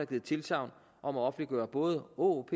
givet tilsagn om at offentliggøre både åop